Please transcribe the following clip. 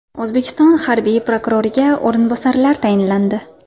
O‘zbekiston harbiy prokuroriga o‘rinbosarlar tayinlandi.